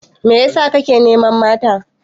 Mai ya sa ka ke neman mata?